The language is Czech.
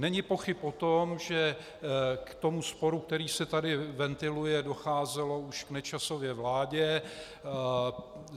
Není pochyb o tom, že k tomu sporu, který se tady ventiluje, docházelo už v Nečasově vládě.